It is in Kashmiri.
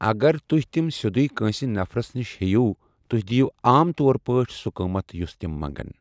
اگر تُہۍ تِم سیٚدُے کٲنٛسہِ نفرَس نِش ہیٚیِو، تُہۍ دِیِو عام طور پٲٹھۍ سُہ قٕمَت یُس تِم منٛگَن۔